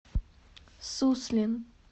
суслин